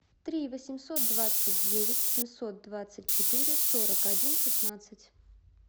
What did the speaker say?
три восемьсот двадцать девять семьсот двадцать четыре сорок один шестнадцать